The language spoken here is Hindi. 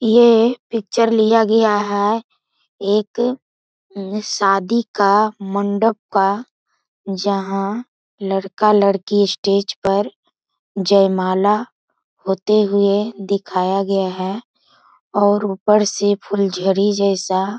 ये पिक्चर लिया गया है एक उ शादी का मंडप का। जहाँ लड़का-लड़की स्टेज पर जयमाला होते हुए दिखाया गया है और ऊपर से फुलझड़ी जैसा --